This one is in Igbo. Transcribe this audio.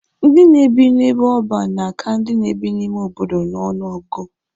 Ndị na-ebi n'ebe ọban na-aka ndị na-ebi n'ime obodo n'ọnụ ọgụgụ.